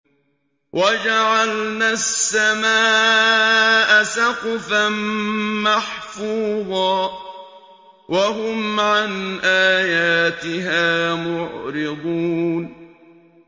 وَجَعَلْنَا السَّمَاءَ سَقْفًا مَّحْفُوظًا ۖ وَهُمْ عَنْ آيَاتِهَا مُعْرِضُونَ